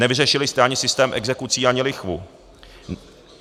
Nevyřešili jste ani systém exekucí, ani lichvu.